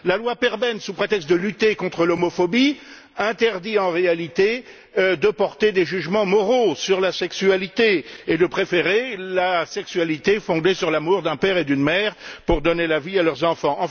La loi Perben, sous prétexte de lutter contre l'homophobie, interdit en réalité de porter des jugements moraux sur la sexualité et de préférer la sexualité fondée sur l'amour d'un père et d'une mère pour donner la vie à leurs enfants.